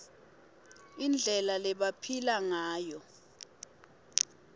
indlela lebebaphila ngayo